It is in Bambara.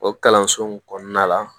O kalanso in kɔnɔna la